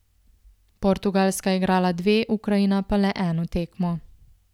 Portugalska je igrala dve, Ukrajina pa le eno tekmo.